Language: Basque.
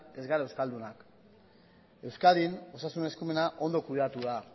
ez gara euskaldunak euskadin osasun eskumena ondo kudeatu da